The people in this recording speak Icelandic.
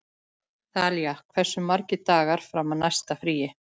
Þalía, hversu margir dagar fram að næsta fríi?